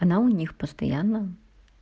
она у них постоянно